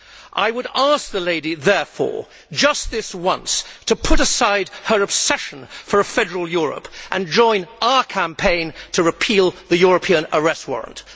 I would ask her, therefore, just this once to put aside her obsession with a federal Europe and join our campaign to repeal the European Arrest Warrant.